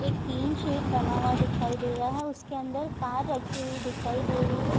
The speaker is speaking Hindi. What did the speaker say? एक टीन शेड बना हुआ दिखाई दे रहा है उसके अंदर कार रखी हुई दिखाई दे रही है।